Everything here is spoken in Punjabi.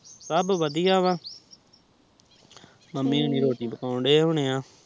ਸਬ ਵਧੀਆ ਵਾ ਮਮ੍ਮੀ ਰੋਟੀ ਪਾਕੁਨ ਦੇ ਹੋਣੇ ਆ